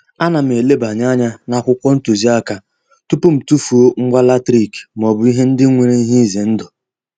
Ana m elebanye anya n'akwụkwọ ntụziaka tupu m tufuo ngwa latrik maọbụ ihe ndị nwere ihe ize ndụ.